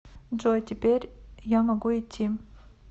джой теперь я могу идти